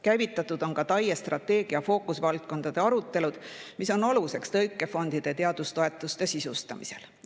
Käivitatud on ka TAIE strateegia fookusvaldkondade arutelud, mis on aluseks tõukefondide ja teadustoetuste sisustamisel.